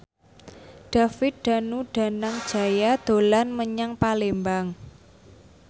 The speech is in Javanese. David Danu Danangjaya dolan menyang Palembang